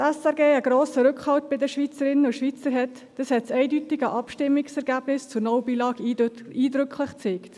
Dass die SRG einen grossen Rückhalt bei den Schweizerinnen und Schweizern geniesst, hat das eindeutige Abstimmungsergebnis zur «No Billag»-Initiative eindrücklich gezeigt.